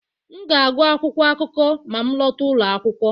M ga-agụ akwụkwọ akụkọ ma m lọta ụlọ akwụkwọ